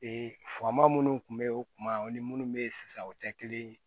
fama minnu tun bɛ ye o kuma o ni minnu bɛ yen sisan o tɛ kelen ye